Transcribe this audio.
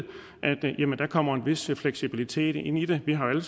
der kommer en vis fleksibilitet ind i det vi har jo